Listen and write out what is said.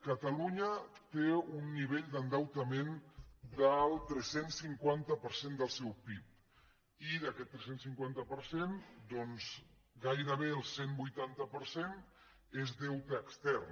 catalunya té un nivell d’endeutament del tres cents i cinquanta per cent del seu pib i d’aquest tres cents i cinquanta per cent doncs gairebé el cent i vuitanta per cent és deute extern